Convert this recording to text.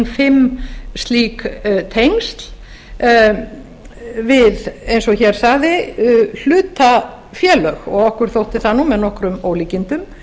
fimm slík tengsl við eins og hér sagði hlutafélög og okkur þótti það með nokkrum ólíkindum